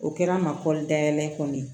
O kɛra n ma kɔli dayɛlɛ kɔni ye